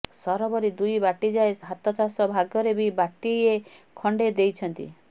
ସରବରି ଦୁଇ ବାଟିଯାଏ ହାତଚାଷ ଭାଗରେ ବି ବାଟିଏ ଖଣ୍ଡେ ଦେଇଛନ୍ତି